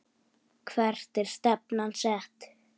Hvert er stefnan sett?